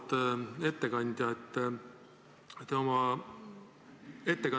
Auväärt ettekandja!